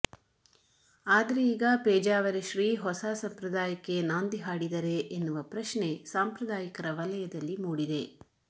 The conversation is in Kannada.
ಆದರೆ ಈಗ ಪೇಜಾವರ ಶ್ರೀ ಹೊಸ ಸಂಪ್ರದಾಯಕ್ಕೆ ನಾಂದಿ ಹಾಡಿದರೇ ಎನ್ನುವ ಪ್ರಶ್ನೆ ಸಾಂಪ್ರದಾಯಿಕರ ವಲಯದಲ್ಲಿ ಮೂಡಿದೆ